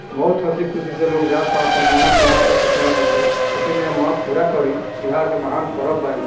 बोहोत हसी खुसी से लोग जाता पण मनत माँगत छट्टी मे से छटी मे मनत पूरा करी बिहार के बहार परब बा ई।